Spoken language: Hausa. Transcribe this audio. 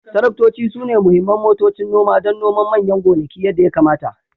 Taraktoci sune muhimman motocin noma don noman manyan gonaki yadda ya kamata